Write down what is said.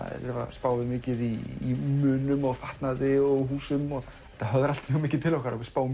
spáum við mikið í munum fatnaði og húsum og þetta höfðar allt mjög mikið til okkar og við spáum